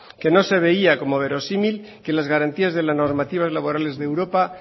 que no se veía como verosímil que las garantías de las normativas laborales de europa